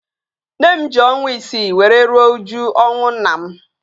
Nne m ji ọnwa isii were rie uju ọnwụ nna m